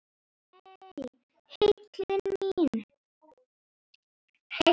Nei, heillin mín.